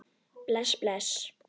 Bless, bless.